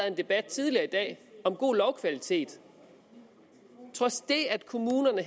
en debat tidligere i dag om god lovkvalitet trods det at kommunerne